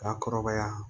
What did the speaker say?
Ka kɔrɔbaya